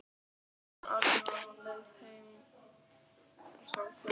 Hann var átján ára, á leið heim úr samkvæmi.